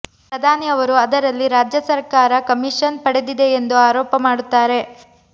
ಪ್ರಧಾನಿ ಅವರು ಅದರಲ್ಲಿ ರಾಜ್ಯ ಸರ್ಕಾರ ಕಮಿಷನ್ ಪಡೆದಿದೆ ಎಂದು ಆರೋಪ ಮಾಡುತ್ತಾರೆ